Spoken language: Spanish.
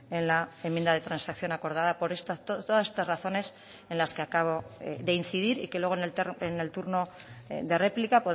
en la enmienda de transacción acordada por todas estas razones en las que acabo de incidir y que luego en el turno de réplica